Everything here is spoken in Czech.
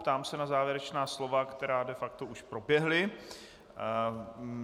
Ptám se na závěrečná slova - která de facto už proběhla.